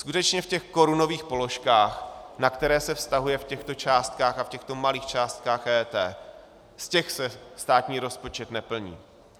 Skutečně v těch korunových položkách, na které se vztahuje v těchto částkách a v těchto malých částkách EET, z těch se státní rozpočet neplní.